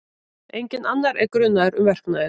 Enginn annar er grunaður um verknaðinn